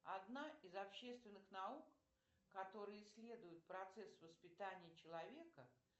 одна из общественных наук которая исследует процесс воспитания человека